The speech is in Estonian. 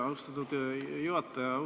Austatud juhataja!